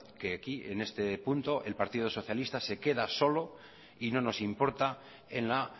que aquí en este punto el partido socialista se queda solo y no nos importa en la